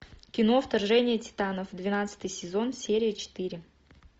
кино вторжение титанов двенадцатый сезон серия четыре